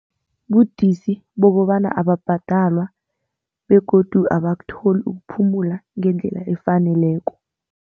Budisi bokobana ababhadalwa begodu abakutholi ukuphumula ngendlela efaneleko.